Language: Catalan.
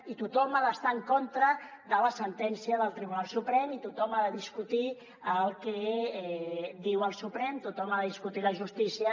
i tothom ha d’estar en contra de la sentència del tribunal suprem i tothom ha de discutir el que diu el suprem tothom ha de discutir la justícia